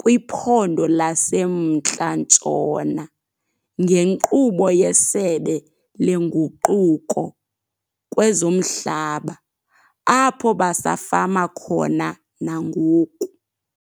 kwiPhondo laseMntla Ntshona ngenkqubo yeSebe leNguquko kwezoMhlaba apho basafama khona nangoku.